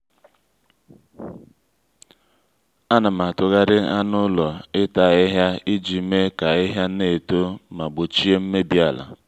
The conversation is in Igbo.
ànà m átúgharị anụ ụlọ ita áhíhía iji mee ka ahịhịa na-eto ma gbochie mmebi ala